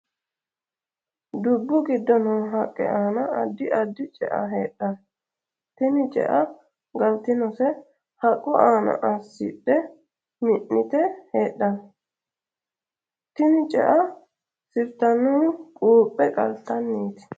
Dubu gido noo haqe aanna addi addi ce'a heedhano. Tinni ce'a galtinose haqu aanna asidhe minnite heedhano. Tinni ce'a sirtanohu guuphe qaltanniiti.